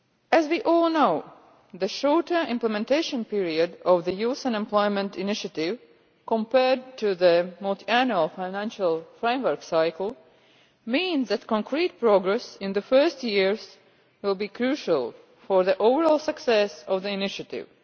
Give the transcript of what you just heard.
As we all know, the shorter implementation period of the Youth Employment Initiative compared to the Multiannual Financial Framework cycle means that concrete progress in the first years will be crucial for the overall success of the Initiative.